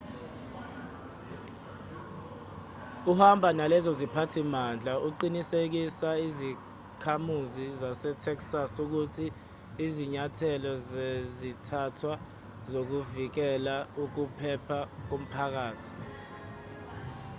ehamba nalezo ziphathimandla uqinisekise izakhamuzi zasetexas ukuthi izinyathelo zazithathwa zokuvikela ukuphepha komphakathi